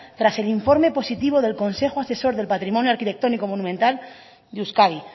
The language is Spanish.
tras el informe positivo del consejo asesor del patrimonio arquitectónico monumental de euskadi